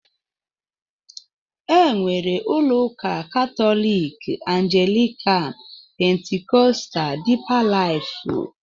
Enwere ụlọ ụka katólik, anglikan, pentikóstal, dipa lifú wdg.